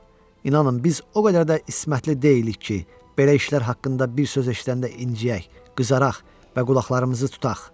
İnanın, biz o qədər də ismətli deyilik ki, belə işlər haqqında bir söz eşidəndə inciyək, qızaraq və qulaqlarımızı tutaq.